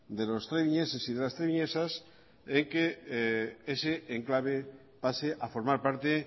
de los trebiñeses y de las trebiñesas en que ese enclave pase a formar parte